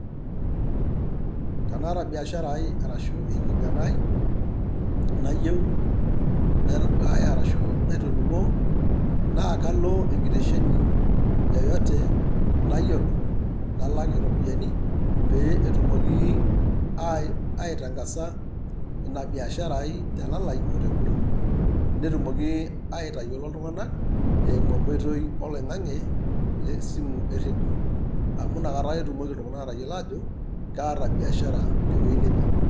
Tanaata biashara ai arashu enkinyang`a ai nayieu naitaduaaya arashu naitoningoo naa kalo enkitesheni yeyote nayiolo nalak iropiyian pee etumoki aitangasa ina biashara ai telalai ote nguton netumoki aitayiolo iltunganak eimu enkitoi oloingange le simu 9cs)eredio amu ina kata ake etumoki iltunganak atayiolo aajo kaata biashara tewuei neje.